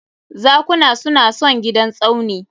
Zakuna su na son gidan Tsauni